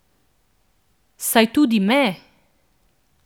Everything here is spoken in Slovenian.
Saj tudi me.